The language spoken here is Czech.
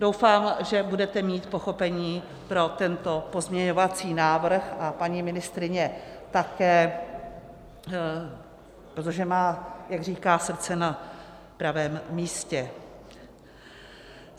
Doufám, že budete mít pochopení pro tento pozměňovací návrh a paní ministryně také, protože má, jak říká, srdce na pravém místě.